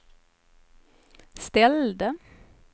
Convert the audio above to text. ställde